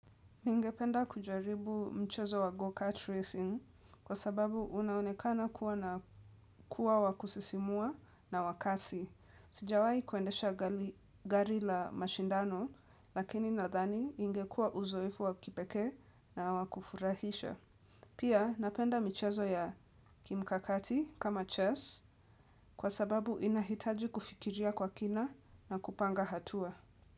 Ningependa kujaribu mchezo wa go-cut racing kwa sababu unaonekana kuwa na kuwa wakusisimua na wakasi. Sijawai kuendesha gari la mashindano lakini nadhani ingekuwa uzoefu wakipekee na wakufurahisha. Pia napenda michezo ya kimkakati kama chess kwa sababu inahitaji kufikiria kwa kina na kupanga hatua.